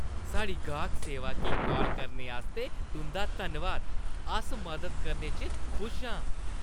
साढ़ी गाह्क सेवा गी काल करने आस्तै तुंʼदा धन्नवाद। अस मदद करने च खुश आं।